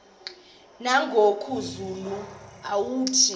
nangoku zulu uauthi